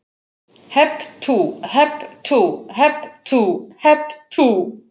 Hep tú, hep tú, hep tú, hep tú.